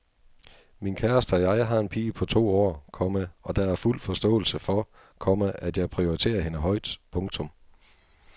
Min kæreste og jeg har en pige på to år, komma og der er fuld forståelse for, komma at jeg prioriterer hende højt. punktum